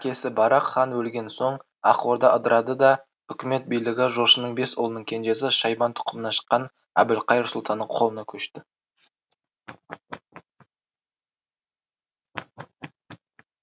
жәнібектің әкесі барақ хан өлген соң ақ орда ыдырады да үкімет билігі жошының бес ұлының кенжесі шайбан тұқымынан шыққан әбілқайыр сұлтанның қолына көшті